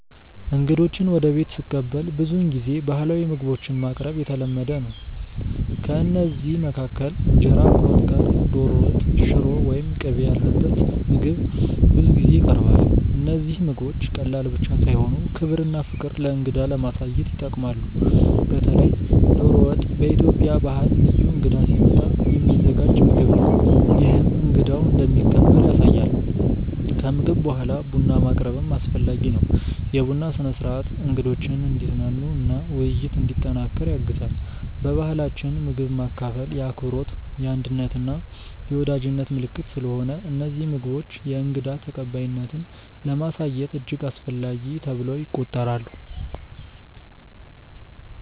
እንግዶችን ወደ ቤት ስቀበል ብዙውን ጊዜ ባህላዊ ምግቦችን ማቅረብ የተለመደ ነው። ከእነዚህ መካከል እንጀራ ከወጥ ጋር፣ ዶሮ ወጥ፣ ሽሮ ወይም ቅቤ ያለበት ምግብ ብዙ ጊዜ ይቀርባል። እነዚህ ምግቦች ቀላል ብቻ ሳይሆኑ ክብርና ፍቅር ለእንግዳ ለማሳየት ይጠቅማሉ። በተለይ ዶሮ ወጥ በኢትዮጵያ ባህል ልዩ እንግዳ ሲመጣ የሚዘጋጅ ምግብ ነው፤ ይህም እንግዳው እንደሚከበር ያሳያል። ከምግብ በኋላ ቡና ማቅረብም አስፈላጊ ነው። የቡና ስነ-ሥርዓት እንግዶችን እንዲዝናኑ እና ውይይት እንዲጠናከር ያግዛል። በባህላችን ምግብ ማካፈል የአክብሮት፣ የአንድነት እና የወዳጅነት ምልክት ስለሆነ እነዚህ ምግቦች የእንግዳ ተቀባይነትን ለማሳየት እጅግ አስፈላጊ ተብለው ይቆጠራሉ